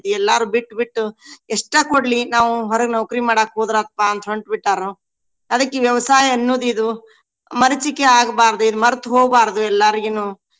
ಎಲ್ಲಾರು ಬಿಟ್ಟ ಬಿಟ್ಟು ಎಷ್ಟ ಕೊಡ್ಲಿ ನಾವು ಹೊರಗ್ ನೌಕ್ರಿ ಮಾಡಾಕ್ ಹೋದ್ರಾತಪಾ ಅಂತ ಹೊಂಟ್ ಬಿಟ್ಟಾರು. ಅದಕ್ಕ ಈ ವ್ಯವಸಾಯ ಅನ್ನೋದ ಇದು ಮರೀಚಿಕೆ ಆಗ್ಬಾರ್ದು. ಇದ್ ಮರ್ತ ಹೋಗಬಾರ್ದು ಎಲ್ಲಾರಿಗುನು.